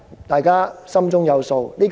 大家心中有數。